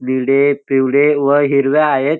निळे पिवळे व हिरवया आहेत--